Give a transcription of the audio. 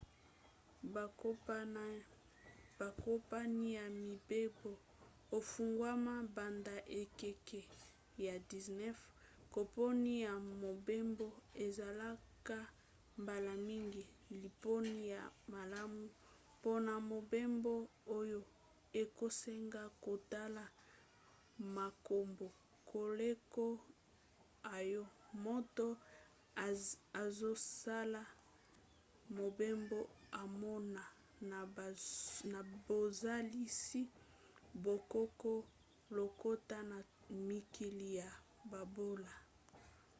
bakompani ya mibembo efungwama banda na ekeke ya 19. kompani ya mobembo ezalaka mbala mingi liponi ya malamu mpona mobembo oyo ekosenga kotala makambo koleka oyo moto azosala mobembo amona na bozalisi bokoko lokota to mikili ya bobola